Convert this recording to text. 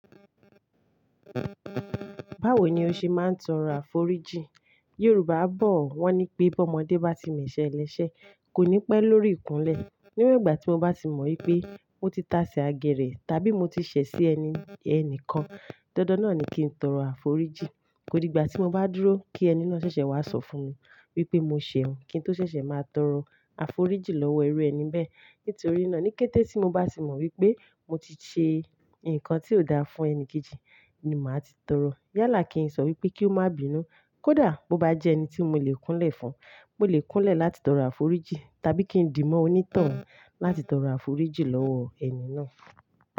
Báwo ni o ṣe máa ń tọrọ àforíjì? Yorùbá bọ̀ wọ́n ní pé bọ́mọdé bá ti mẹ̀ṣẹ lẹ́sẹ̀ kò ní pẹ́ lórí ìkúnlẹ̀. Nígbà tí mo bá sì mọ̀ wípé mo ti táṣẹ agẹ́rẹ̀ tàbí mo ti ṣẹ̀ sí ẹni ẹni kan, dandan náà ni kí n tọrọ àforíjì. Kódi ìgbà tí mo bá dúró kí ẹni náà ṣẹ̀ṣẹ̀ wá sọ fún mi wípé mo ṣẹ̀ ọ́un, kí n tó ṣẹ̀ṣẹ̀ máa tọrọ àforíjì lọ́wọ́ irú ẹni bẹ́ẹ̀. Nítorí náà ní kété tí mo bá tì mọ̀ wípé mo ti ṣe ǹkan tí ó dáa fún ẹni kejì ni màá ti tọrọ. Yálà kí n sọ wípé kí ó má bínú. Kódà bó bá jẹ́ ẹni tí mo lè kúnlẹ̀ fún, mo lè kúnlẹ̀ láti tọrọ àforíjì tàbí kí n dì mọ́ onítàn láti tọrọ àforíjì lọ́wọ́ ẹni náà.